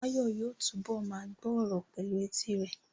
Báyọ̀ yóò túbọ̀ ma gbọ́ ọ̀rọ̀ pẹ̀lú etí rẹ̀